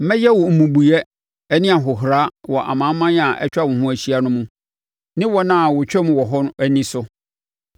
“Mɛyɛ wo mmubuiɛ ne ahohora wɔ amanaman a atwa wo ho ahyia no mu, ne wɔn a wɔtwam hɔ no ani so.